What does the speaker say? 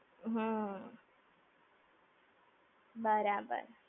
હમ્મ. બરાબર.